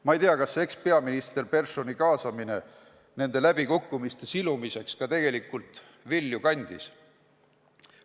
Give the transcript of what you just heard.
Ma ei tea, kas ekspeaminister Perssoni kaasamine nende läbikukkumiste silumiseks ka tegelikult vilja kandis.